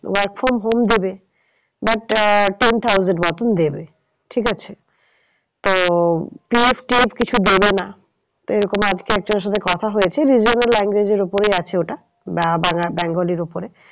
Work from home দেবে but ah ten thousand মতন দেবে ঠিক আছে। তো PFTF কিছু দেবে না। তো এরকম আজকে একজনের সাথে কথা হয়েছে regional language এর উপরেই আছে ওটা bengali র ওপরে।